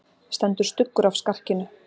Stendur stuggur af skarkinu.